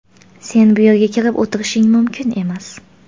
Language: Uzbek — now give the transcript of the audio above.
Sen bu yerga kirib o‘tirishing mumkin emas.